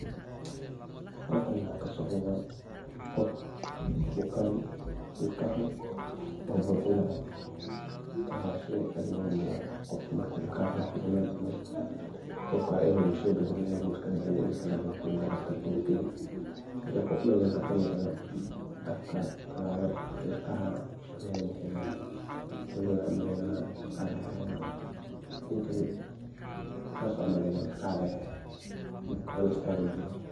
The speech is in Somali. Halkani maxa kasocda qof bukaan ilkaha loo buxinayo, ilkaha waa sheey aad muhim u ah, qofka markey ilkaha hanunayan iligu iskabixini ilig kala logu badeli oo lagalini dakhtarka ugeyni. Hada meshan maxa ka muqda qof afka kalahayo oo koley waxan u maleynaya ilkaha laga bixini haya. Ninkan sas an u maleynaya ilkaha laga haya sas an u malenaya, Isbital bu joga.